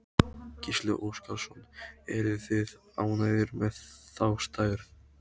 Gísli Óskarsson: Eruð þið ánægðir með þá stærð?